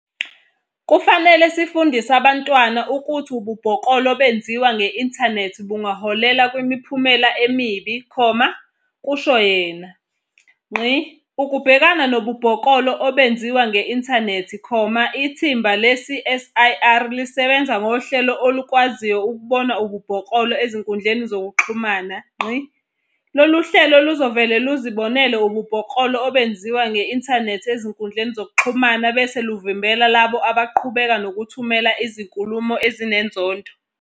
"Kufanele sifundise abantwana ukuthi ububhoklolo obenziwa nge-inthanethi bungaholela kwimiphumela emibi," kusho yena. Ukubhekana nobubhoklolo obenziwa nge-inthanethi, ithimba le-CSIR lisebenza ngohlelo olukwaziyo ukubona ububhoklolo ezinkundleni zokuxhumana. "Lolu hlelo luzovele luzibonele ububhoklolo obenziwa nge-inthanethi ezinkundleni zokuxhumana bese luvimbela labo abaqhubeka nokuthumela izinkulumo ezinenzondo.